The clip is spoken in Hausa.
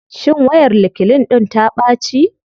Shin wayar reclean ɗIn ta ɓaci.